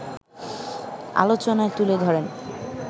আলোচনায় তুলে ধরেন